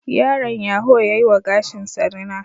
Yaron yaho ya yi wa gashinsa rina